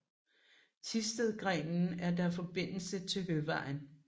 Thistedgrenen er der forbindelse til Høvejen